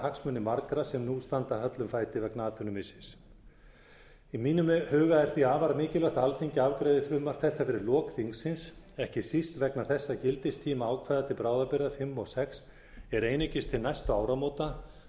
hagsmuni margra sem nú standa höllum fæti vegna atvinnumissis í mínum huga er því afar mikilvægt að alþingi afgreiði frumvarp þetta fyrir lok þingsins ekki síst vegna þess að gildistími ákvæða til bráðabirgða fimm og sex er einungis til næstu áramóta